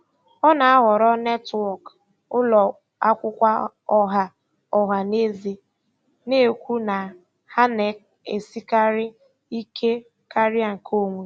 Ọ na-ahọrọ netwọk ụlọ akwụkwọ ọha ọha na eze, na-ekwu na ha na-esikarị ike karịa nke onwe.